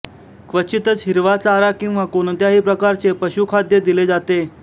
क्वचितच हिरवा चारा किंवा कोणत्याही प्रकारचे पशुखाद्य दिले जाते